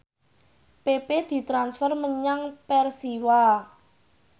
pepe ditransfer menyang Persiwa